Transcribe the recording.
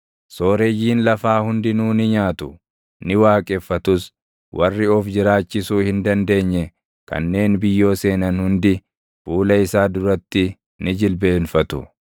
Sooreyyiin lafaa hundinuu ni nyaatu; ni waaqeffatus; warri of jiraachisuu hin dandeenye kanneen biyyoo seenan hundi fuula isaa duratti ni jilbeenfatu.